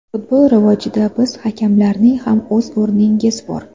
Futbol rivojida siz hakamlarning ham o‘z o‘rningiz bor.